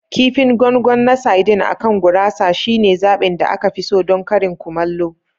Kifin gongon na saidin akan gurasa shine zaɓin da aka fi so don karin kumallo.